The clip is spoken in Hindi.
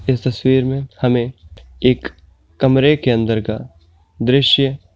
यह तस्वीर ने हमे एक कमरे के अंदर का दृश्य --